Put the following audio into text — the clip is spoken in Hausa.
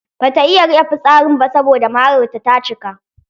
Bata iya rike fitsarin ba saboda mararta ta cika.